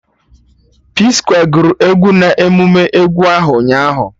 P-skwe gụrụ egwu na emume egwu ahụ ụnyaahụ